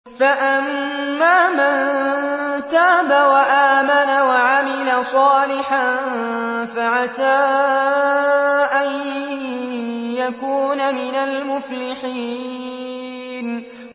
فَأَمَّا مَن تَابَ وَآمَنَ وَعَمِلَ صَالِحًا فَعَسَىٰ أَن يَكُونَ مِنَ الْمُفْلِحِينَ